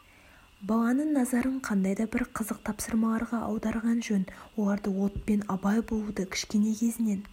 баланың назарын қандай да бір қызық тапсырмаларға аударған жөн оларды отпен абай болуды кішкене кезінен